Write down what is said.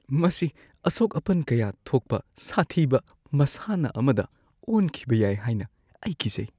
ꯃꯁꯤ ꯑꯁꯣꯛ-ꯑꯄꯟ ꯀꯌꯥ ꯊꯣꯛꯄ ꯁꯥꯊꯤꯕ ꯃꯁꯥꯟꯅ ꯑꯃꯗ ꯑꯣꯟꯈꯤꯕ ꯌꯥꯏ ꯍꯥꯏꯅ ꯑꯩ ꯀꯤꯖꯩ꯫